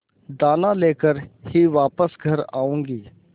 दाना लेकर ही वापस घर आऊँगी